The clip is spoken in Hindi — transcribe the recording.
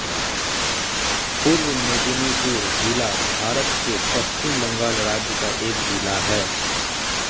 पूर्व मेदिनीपुर ज़िला भारत के पश्चिम बंगाल राज्य का एक ज़िला है